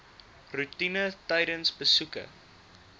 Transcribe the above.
roetine tydens besoeke